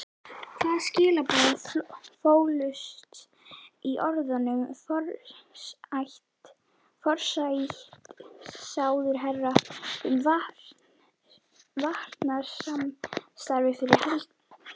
Hvaða skilaboð fólust í orðum forsætisráðherra um varnarsamstarfið fyrir helgi?